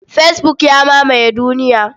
Fesbuk ya mamaye duniya.